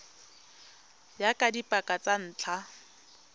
ya ka dipaka tsa ntlha